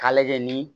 K'a lajɛ ni